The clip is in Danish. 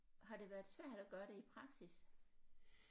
Har det været svært at gøre det i praksis